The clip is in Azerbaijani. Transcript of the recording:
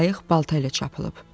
Qayıq balta ilə çapılıb.